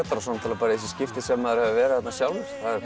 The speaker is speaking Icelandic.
og svo þessi skipti sem maður hefur verið þarna sjálfur